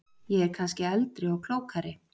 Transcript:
Ég er kannski eldri og klókari.